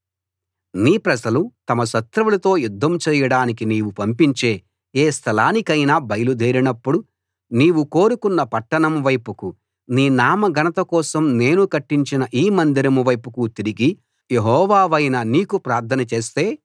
నీ ప్రజలు తమ శత్రువులతో యుద్ధం చేయడానికి నీవు పంపించే ఏ స్థలానికైనా బయలు దేరినప్పుడు నీవు కోరుకొన్న పట్టణం వైపుకూ నీ నామ ఘనత కోసం నేను కట్టించిన ఈ మందిరం వైపుకూ తిరిగి యెహోవావైన నీకు ప్రార్థన చేస్తే